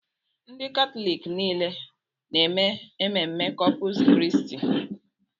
Ndị Katọlik niile na-eme ememme Kọpụs Kristi.